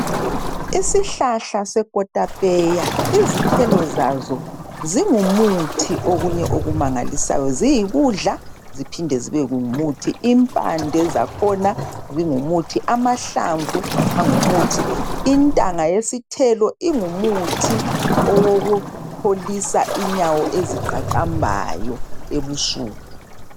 Isihlahla sekotapeya izithelo zazo zingumuthi okunye okumangalisayo. Ziyikudla ziphinde zibe ngumuthi. Impande zakhona zingumuthi, amahlamvu angumuthi, intanga yasithelo ingumuthi owokupholisa inyawo eziqaqambayo ebusuku.